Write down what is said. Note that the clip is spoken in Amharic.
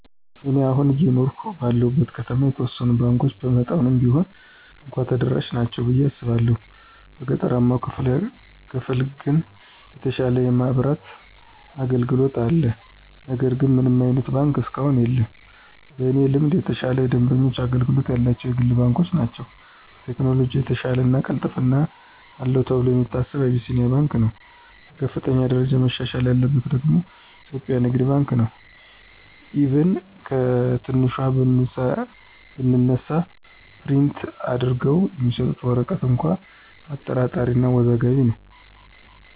እኔ አሁን አየኖርሁ ባለሁበት ከተማ የተወሰኑት ባንኮች በመጠኑም ቢሆን እንኳ ተደራሽ ናቸው ብየ አስባለሁ። በገጠራማው ክፍል ግን የተሻለ የማብራት አገልግሎት አለ ነገር ግን ምንም አይነት ባንክ እስካሁን የለም። በእኔ ልምድ የተሻለ የደንበኞች አገልግሎት ያላቸው የግል ባንኮች ናቸው። በቴክኖሎጅ የተሻለው እና ቅልጥፍና አለው ተብሎ የሚታሰበው አቢሲንያ ባንክ ነው። በከፍተኛ ደረጃ መሻሻል ያለበት ደግሞ ኢትዮጵያ ንግድ ባንክ ነው፤ ኢቭን ከትንሿ ብንነሳ ፕሪንት አድርገው የሚሰጡት ወረቀት እንኳ አጠራጣሪ እና አወዛጋቢ ነው።